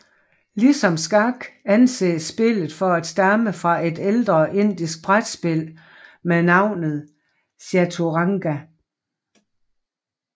Ligesom skak anses spillet for at stamme fra et ældre indisk brætspil med navnet chaturanga